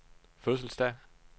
fødselsdag